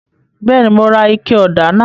Bẹẹni, Mo rà ike ọda náà